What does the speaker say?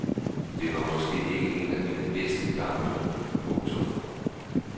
Det var måske ikke en af mine bedste kampe. punktum